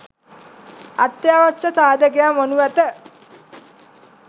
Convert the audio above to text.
අත්‍යවශ්‍ය සාධකයක් වනු ඇත